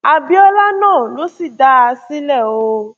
àbíọlá náà ló sì dá a sílẹ o